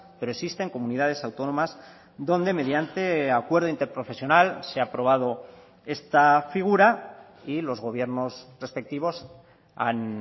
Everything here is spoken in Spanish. pero existen comunidades autónomas donde mediante acuerdo interprofesional se ha aprobado esta figura y los gobiernos respectivos han